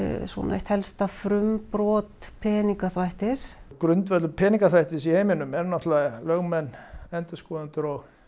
eitt helsta frumbrot peningaþvættis grundvöllur peningaþvættis í heiminum eru náttúrulega lögmenn endurskoðendur og